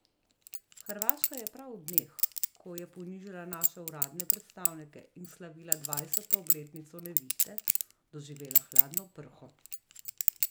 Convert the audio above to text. Hrvaška je prav v dneh, ko je ponižala naše uradne predstavnike in slavila dvajseto obletnico Nevihte, doživela hladno prho.